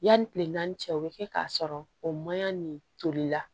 Yanni kile naani cɛ o bɛ kɛ k'a sɔrɔ o maɲi nin toli la